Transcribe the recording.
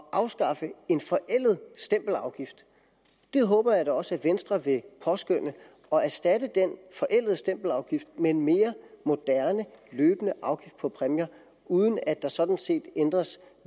afskaffe en forældet stempelafgift det håber jeg da også at venstre vil påskønne og erstatte den forældede stempelafgift med en mere moderne løbende afgift på præmier uden at der sådan set ændres